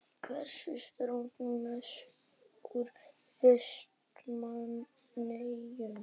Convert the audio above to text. Hvers saknarðu mest úr Vestmannaeyjum?